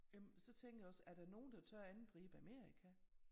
Jamen så tænker jeg også er der nogen der tør angribe Amerika